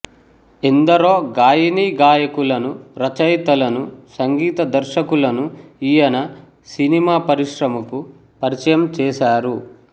ఎందరో గాయనీగాయకులను రచయితలనూ సంగీతదర్శకులనూ ఈయన సినిమా పరిశ్రమకు పరిచయం చేసారు